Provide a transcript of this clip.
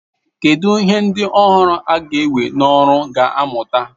Kedu ihe ndị ọhụrụ a ga-ewe n'ọrụ ga-amụta?